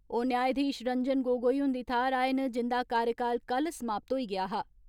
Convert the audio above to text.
ओ न्यायधीश रंजन गोगोई हुंदी थाहर आए न जिंदा कार्यकाल कल समाप्त होई गेआ हा।